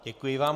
Děkuji vám.